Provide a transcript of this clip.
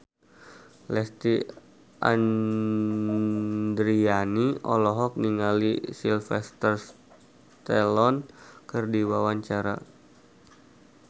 Lesti Andryani olohok ningali Sylvester Stallone keur diwawancara